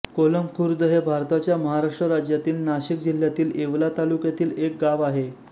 कोलम खुर्द हे भारताच्या महाराष्ट्र राज्यातील नाशिक जिल्ह्यातील येवला तालुक्यातील एक गाव आहे